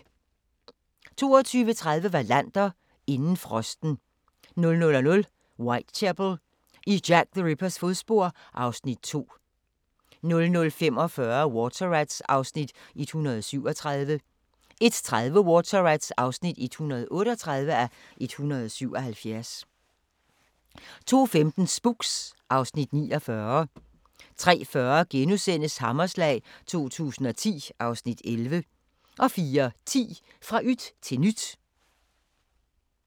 22:30: Wallander: Inden frosten 00:00: Whitechapel: I Jack the Rippers fodspor (Afs. 2) 00:45: Water Rats (137:177) 01:30: Water Rats (138:177) 02:15: Spooks (Afs. 49) 03:40: Hammerslag 2010 (Afs. 11)* 04:10: Fra yt til nyt